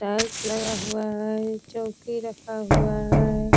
Tiles लगा हुआ है चौकी रखा हुआ है।